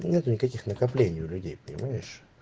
нету никаких накоплений у людей понимаешь